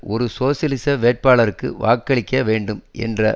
ஒரு சோசியலிச வேட்பாளருக்கு வாக்களிக்க வேண்டும் என்ற